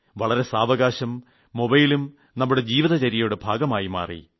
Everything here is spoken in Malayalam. വളരെ സാവകാശം മൊബൈലും നമ്മുടെ ജീവിതചര്യയുടെ ഭാഗമായി മാറി